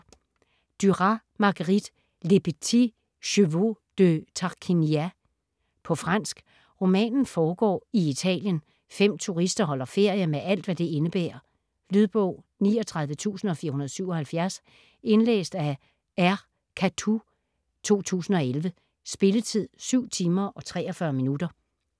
Duras, Marguerite: Les petits chevaux de Tarquinia På fransk. Romanen foregår i Italien. Fem turister holder ferie med alt, hvad det indebærer. Lydbog 39477 Indlæst af R. Cathoud, 2011. Spilletid: 7 timer, 43 minutter.